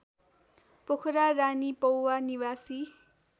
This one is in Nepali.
पोखरा रानीपौवा निवासी